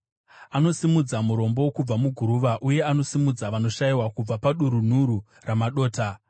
Anosimudza murombo kubva muguruva, uye anosimudza vanoshayiwa kubva padurunhuru ramadota;